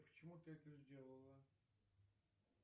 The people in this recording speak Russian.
почему ты это сделала